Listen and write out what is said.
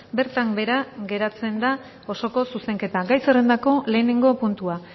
bertan behera geratzen da osoko zuzenketa gai zerrendako lehenengo puntua